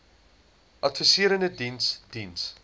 adviserende diens diens